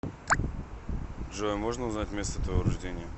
джой можно узнать место твоего рождения